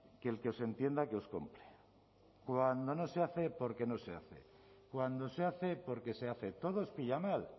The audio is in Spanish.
que el que os entienda que os compre cuando no se hace porque no se hace cando se hace porque se hace todo os pilla mal